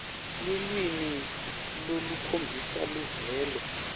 lulwimi lolukhombisa luvelo